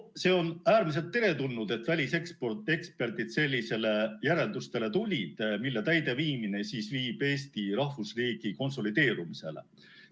See on äärmiselt teretulnud, et väliseksperdid tulid sellistele järeldustele, mille täideviimine viib Eesti rahvusriigi konsolideerumisele.